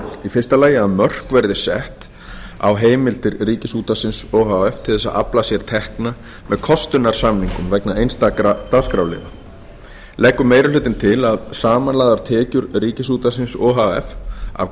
í fyrsta lagi að mörk verði sett á heimild ríkisútvarpsins o h f til að afla sér tekna með kostunarsamningum vegna einstakra dagskrárliða leggur meiri hlutinn til að samanlagðar tekjur ríkisútvarpsins o h f af